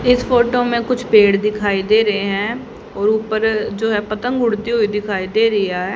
इस फोटो में कुछ पेड़ दिखाई दे रहे हैं और ऊपर जो है पतंग उड़ती हुई दिखाई दे रही है।